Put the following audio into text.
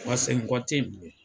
Wa segin kɔ te yen bilen